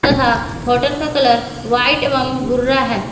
तथा होटल का colour white एवं भूरा है।